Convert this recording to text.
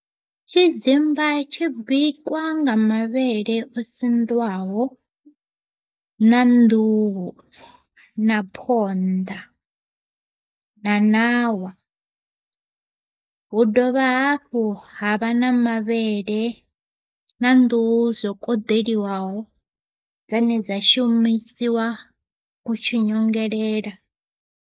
Tshidzimba tshi bikwa nga mavhele o siḓiwaho na nḓuhu na phonḓa na ṋawa. Hu dovha hafhu ha vha na mavhele na nḓuhu zwo koḓeliwaho dzane dza shumisiwa utshi nyongelela.